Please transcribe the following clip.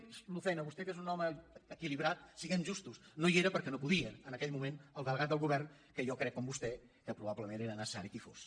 l’ofèn a vostè que és un home equilibrat siguem justos no hi era perquè no podia en aquell moment el delegat del govern que jo crec com vostè que proba·blement era necessari que hi fos